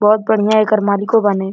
बहुत बढ़िया एकर मालिकों बाने।